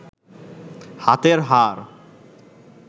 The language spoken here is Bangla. হাতের হাড়